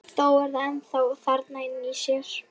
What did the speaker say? Þó er það ennþá þarna inni í sér.